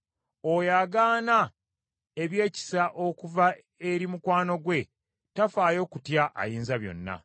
Oyo agaana ebyekisa okuva eri mukwano gwe tafaayo kutya Ayinzabyonna.